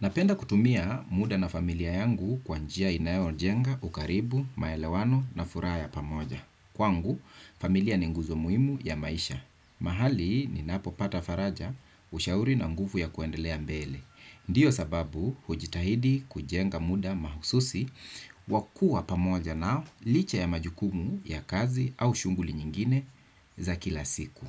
Napenda kutumia muda na familia yangu kwa njia inayo jenga ukaribu, maelewano na furaha ya pamoja. Kwangu, familia ni nguzo muhimu ya maisha. Mahali ninapopata faraja ushauri na nguvu ya kuendelea mbele. Ndio sababu hujitahidi kujenga muda mahususi wakuwa pamoja nao licha ya majukumu ya kazi au shughuli nyingine za kila siku.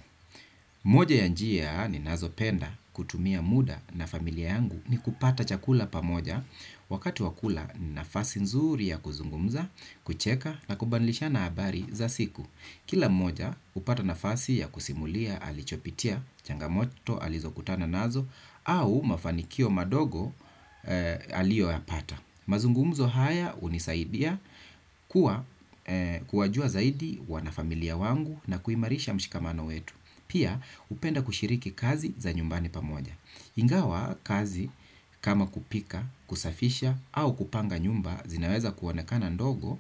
Moja ya njia ninazo penda kutumia muda na familia yangu ni kupata chakula pamoja. Wakati wa kula ni nafasi nzuri ya kuzungumza, kucheka na kubadilishana habari za siku. Kila mmoja hupata nafasi ya kusimulia alichopitia, changamoto, alizokutana nazo au mafanikio madogo eeh, ya alio yapata. Mazungumzo haya hunisaidia kuwa kuwajua zaidi wanafamilia wangu na kuimarisha mshikamano wetu. Pia hupenda kushiriki kazi za nyumbani pamoja. Ingawa kazi kama kupika, kusafisha au kupanga nyumba zinaweza kuonekana ndogo,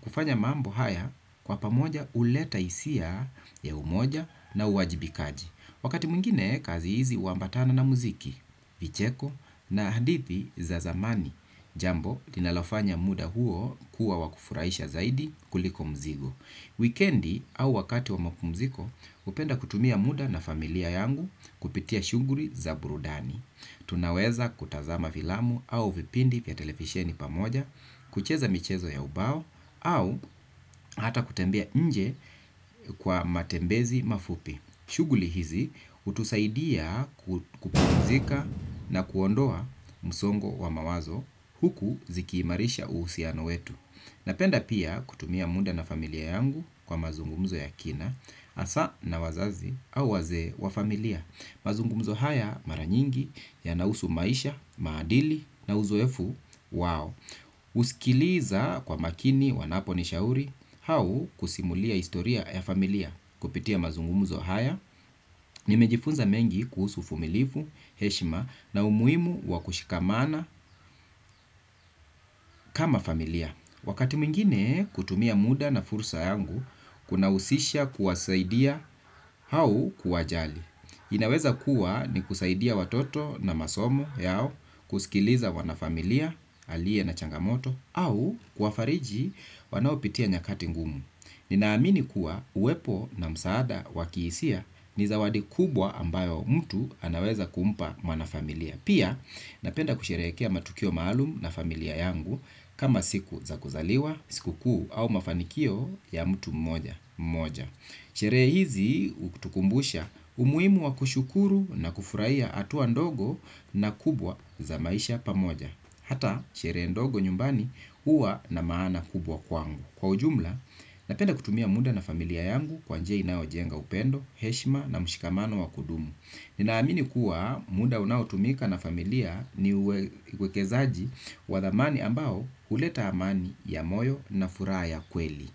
kufanya mambo haya kwa pamoja huleta hisia ya umoja na uwajibikaji. Wakati mwingine, kazi hizi huambatana na muziki, vicheko na hadithi za zamani. Jambo, linalofanya muda huo kuwa wakufurahisha zaidi kuliko mzigo. Wikendi au wakati wa mapumziko, hupenda kutumia muda na familia yangu kupitia shughuli za burudani. Tunaweza kutazama filamu au vipindi vya televisheni pamoja, kucheza michezo ya ubao, au hata kutembea nje kwa matembezi mafupi. Shughuli hizi hutusaidia kupumzika na kuondoa msongo wa mawazo huku zikiimarisha uhusiano wetu. Napenda pia kutumia muda na familia yangu kwa mazungumzo ya kina, hasa na wazazi au wazee wa familia. Mazungumzo haya mara nyingi yanahusu maisha, maadili na uzoefu, wao husikiliza kwa makini wanapo nishauri au kusimulia historia ya familia. Kupitia mazungumuzo haya nimejifunza mengi kuhusu uvumilifu, heshima na umuhimu wa kushikamana kama familia. Wakati mwingine kutumia muda na fursa yangu kunahusisha kuwasaidia au kuwajali. Inaweza kuwa ni kusaidia watoto na masomo yao. Kusikiliza wana familia alie na changamoto au kuwafariji wanaopitia nyakati ngumu. Ninaamini kuwa uwepo na msaada wakiisia ni zawadi kubwa ambayo mtu anaweza kumpa mwana familia. Pia napenda kusherekea matukio maalum na familia yangu kama siku za kuzaliwa, sikukuu au mafanikio ya mtu mmoja. Sherehe hizi hutukumbusha umuhimu wa kushukuru na kufurahia hatua ndogo na kubwa za maisha pamoja hata, sherehe ndogo nyumbani huwa na maana kubwa kwangu. Kwa ujumla, napenda kutumia muda na familia yangu kwa njia inayo jenga upendo, heshima na mshikamano wa kudumu. Ninaamini kuwa muda unaotumika na familia ni uwekezaji wa thamani ambao huleta amani ya moyo na furaha ya kweli.